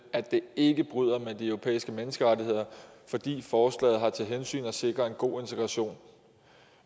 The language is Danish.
at det ikke bryder med de europæiske menneskerettigheder fordi forslaget har til hensigt at sikre en god integration